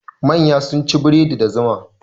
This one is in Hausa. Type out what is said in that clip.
Manya sun ci bredi da zuma.